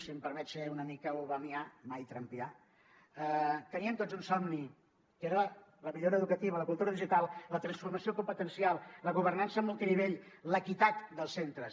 si em permet ser una mica obamià mai trumpià teníem tots un somni que era la millora educativa la cultura digital la transformació competencial la governança multinivell l’equitat dels centres